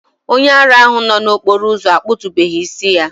Onye ara ahụ nọ n'okporo ụzọ akpụ̀tubeghi isi ya